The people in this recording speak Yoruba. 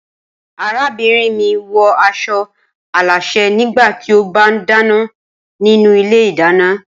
Arábìnrin mi wọ aṣọ alásè nígbà tí ó bá ń dáná nínú ilé ìdáná.